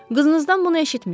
Qızınızdan bunu eşitmişəm.